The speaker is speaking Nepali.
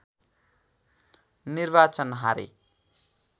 निर्वाचन हारे